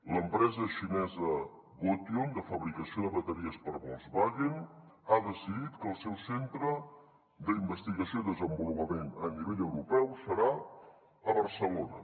l’empresa xinesa gotion de fabricació de bateries per a volkswagen ha decidit que el seu centre d’investigació i desenvolupament a nivell europeu serà a barcelona